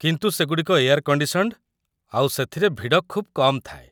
କିନ୍ତୁ ସେଗୁଡ଼ିକ air conditioned ଆଉ ସେଥିରେ ଭିଡ଼ ଖୁବ୍ କମ୍ ଥାଏ ।